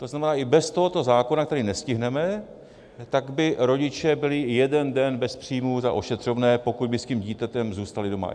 To znamená, i bez tohoto zákona, který nestihneme, tak by rodiče byli jeden den bez příjmů za ošetřovné, pokud by s tím dítětem zůstali doma.